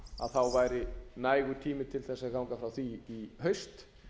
þá væri nægur tími til að ganga frá því í haust